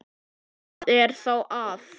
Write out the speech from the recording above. Hvað er þá að?